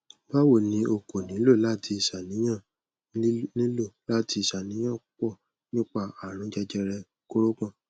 bawo ni o ko nilo lati ṣàníyàn nilo lati ṣàníyàn pupọ nipa àrùn jẹjẹrẹ kórópọ̀n